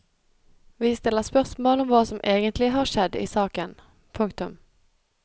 Vi stiller spørsmål om hva som egentlig har skjedd i saken. punktum